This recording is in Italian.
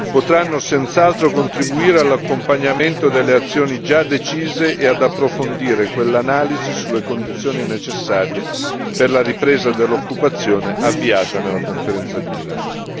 Potranno senz'altro contribuire all'accompagnamento delle azioni già decise e ad approfondire quelle analisi sulle condizioni necessarie per la ripresa dell'occupazione avviata nella Conferenza di Milano.